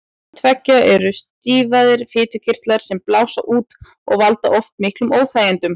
Hvort tveggja eru stíflaðir fitukirtlar sem blása út og valda oft miklum óþægindum.